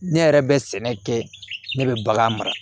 Ne yɛrɛ bɛ sɛnɛ kɛ ne bɛ bagan mara